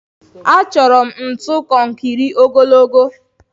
Achọrọ m ntu konkiri ogologo